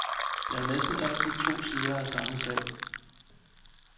Der er jo næsten altid to sider af samme sag.